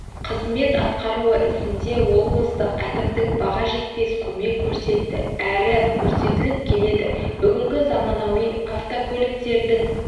қызмет атқаруы ісінде облыстық әкімдік баға жетпес көмек көрсетті әрі көрсетіп келеді бүгінгі заманауи автокөліктердің